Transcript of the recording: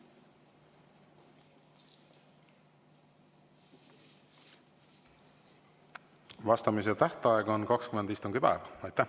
Vastamise tähtaeg on 20 istungipäeva.